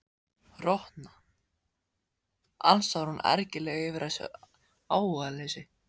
Rotna, ansar hún ergileg yfir þessu áhugaleysi.